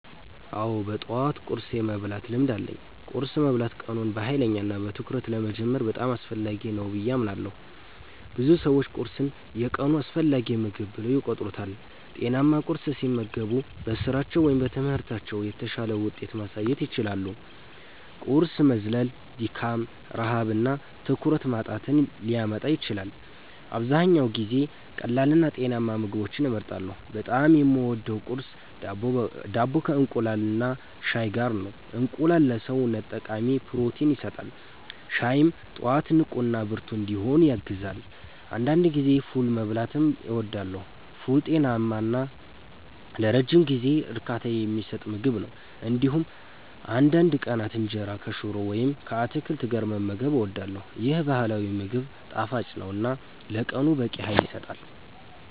አዎ፣ በጠዋት ቁርስ የመብላት ልምድ አለኝ። ቁርስ መብላት ቀኑን በኃይልና በትኩረት ለመጀመር በጣም አስፈላጊ ነው ብዬ አምናለሁ። ብዙ ሰዎች ቁርስን የቀኑ አስፈላጊ ምግብ ብለው ይቆጥሩታል። ጤናማ ቁርስ ሲመገቡ በስራቸው ወይም በትምህርታቸው የተሻለ ውጤት ማሳየት ይችላሉ። ቁርስ መዝለል ድካም፣ ረሃብ እና ትኩረት ማጣትን ሊያመጣ ይችላል። አብዛኛውን ጊዜ ቀላልና ጤናማ ምግቦችን እመርጣለሁ። በጣም የምወደው ቁርስ ዳቦ ከእንቁላልና ሻይ ጋር ነው። እንቁላል ለሰውነት ጠቃሚ ፕሮቲን ይሰጣል፣ ሻይም ጠዋት ንቁና ብርቱ እንድሆን ያግዛል። አንዳንድ ጊዜ ፉል መብላትም እወዳለሁ። ፉል ጤናማ እና ለረጅም ጊዜ እርካታ የሚሰጥ ምግብ ነው። እንዲሁም አንዳንድ ቀናት እንጀራ ከሽሮ ወይም ከአትክልት ጋር መመገብ እወዳለሁ። ይህ ባህላዊ ምግብ ጣፋጭ ነው እና ለቀኑ በቂ ኃይል ይሰጣል።